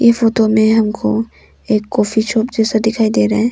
इस फोटो में हमको एक कॉफी शॉप जैसा दिखाई दे रहा है।